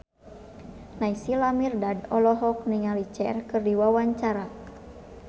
Naysila Mirdad olohok ningali Cher keur diwawancara